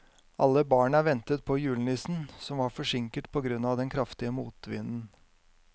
Alle barna ventet på julenissen, som var forsinket på grunn av den kraftige motvinden.